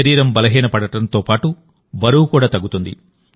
శరీరం బలహీనపడటంతోపాటు బరువు కూడా తగ్గుతుంది